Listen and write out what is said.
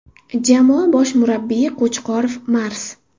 Jamoa bosh murabbiyi Qo‘chqorov Mars.